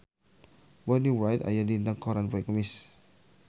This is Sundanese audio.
Bonnie Wright aya dina koran poe Kemis